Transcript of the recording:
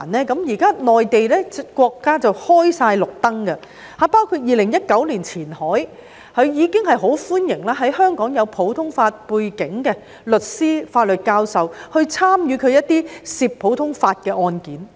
國家現在綠燈全開了，包括2019年前海已很歡迎擁有普通法背景的香港律師和法律教授參與涉及普通法的案件。